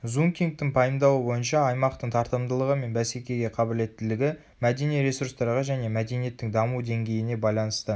зункингтің пайымдауы бойынша аймақтың тартымдылығы мен бәсекеге қабілеттілігі мәдени ресурстарға және мәдениеттің даму деңгейіне байланысты